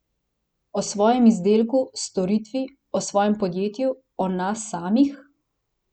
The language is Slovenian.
O svojem izdelku, storitvi, o svojem podjetju, o nas samih?